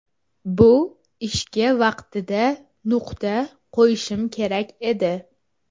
Bu ishga vaqtida nuqta qo‘yishim kerak edi.